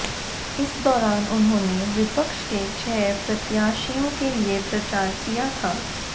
इस दौरान उन्होंने विपक्ष के छह प्रत्याशियों के लिए प्रचार किया था